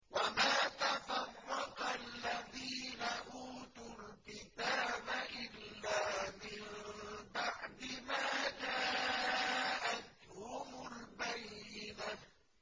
وَمَا تَفَرَّقَ الَّذِينَ أُوتُوا الْكِتَابَ إِلَّا مِن بَعْدِ مَا جَاءَتْهُمُ الْبَيِّنَةُ